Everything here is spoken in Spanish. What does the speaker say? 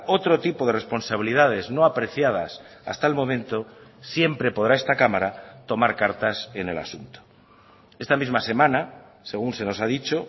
otro tipo de responsabilidades no apreciadas hasta el momento siempre podrá esta cámara tomar cartas en el asunto esta misma semana según se nos ha dicho